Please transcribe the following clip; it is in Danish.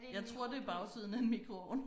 Jeg tror det bagsiden af en mikroovn